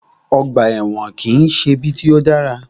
Ọgbà ẹ̀wọ̀n kìí ṣe ibi tí o dára.